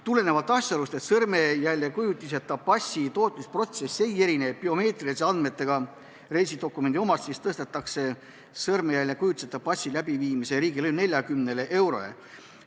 Tulenevalt asjaolust, et sõrmejäljekujutiseta passi tootmise protsess ei erine biomeetriliste andmetega reisidokumendi omast, tõstetakse sõrmejäljekujutiseta passi läbivaatamise riigilõiv 40 eurole.